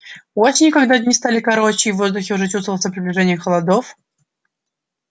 осенью когда дни стали короче и в воздухе уже чувствовалось приближение холодов